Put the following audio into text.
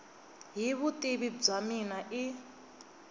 hi vutivi bya mina i